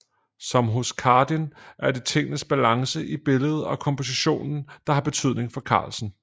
Som hos Chardin er det tingenes balance i billedet og kompositionen der har betydning for Carlsen